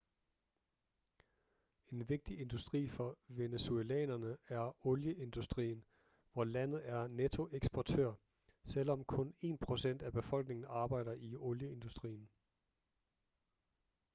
en vigtig industri for venezuelanere er olieindustrien hvor landet er nettoeksportør selvom kun én procent af befolkningen arbejder i olieindustrien